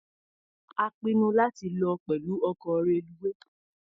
A pinnu láti lọ pẹ̀lú ọkọ̀ reluwé.